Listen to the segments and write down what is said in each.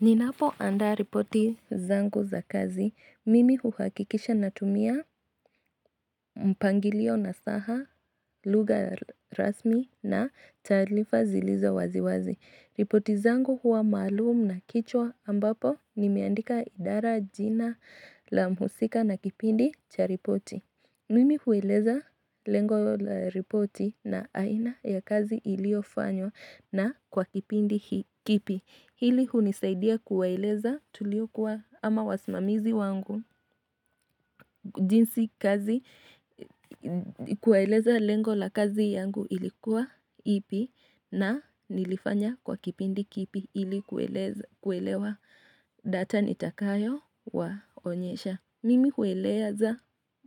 Ninapo andaa ripoti zangu za kazi. Mimi huhakikisha natumia mpangilio nasaha, lugha rasmi na tarifa zilizo waziwazi. Ripoti zangu huwa maluum na kichwa ambapo nimeandika idara jina la mhusika na kipindi cha ripoti. Mimi hueleza lengo la ripoti na aina ya kazi iliofanywa na kwa kipindi kipi. Hili hunisaidia kuwaeleza tulikwa ama wasimamizi wangu jinsi kazi kueleza lengo la kazi yangu ilikuwa ipi na nilifanya kwa kipindi kipi ili kuelewa data nitakayo waonyesha. Mimi kueleza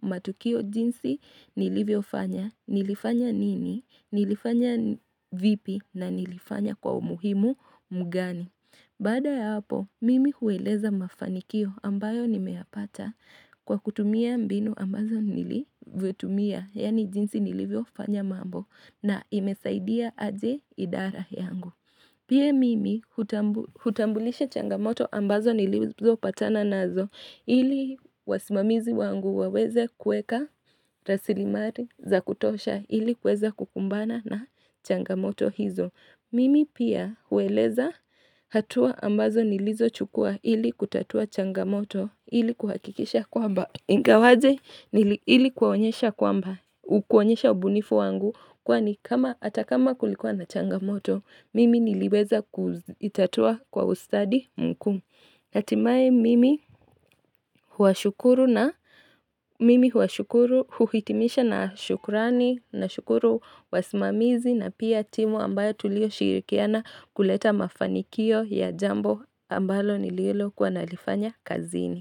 matukio jinsi nilivyo fanya, nilifanya nini, nilifanya vipi na nilifanya kwa umuhimu mgani. Baada ya hapo, mimi hueleza mafanikio ambayo nimeyapata kwa kutumia mbinu ambazo nilivyo tumia, yani jinsi nilivyo fanya mambo na imesaidia aje idara yangu. Pia mimi hutambulisha changamoto ambazo nilizo patana nazo ili wasimamizi wangu waweze kueka rasilimari za kutosha ili kweza kukumbana na changamoto hizo. Mimi pia hueleza hatua ambazo nilizo chukua ili kutatua changamoto ili kuhakikisha kwamba ingawaje ili kwaonyesha kwamba kuonyesha ubunifu wangu kwani kama atakama kulikuwa na changamoto. Mimi niliweza kuitatua kwa ustadi mku. Hatimae mimi huwashukuru na mimi huwashukuru huhitimisha na shukurani na shukuru wasimamizi na pia timu ambayo tulio shirikiana kuleta mafanikio ya jambo ambalo nililo kuwa nalifanya kazini.